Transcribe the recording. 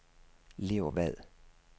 Leo Vad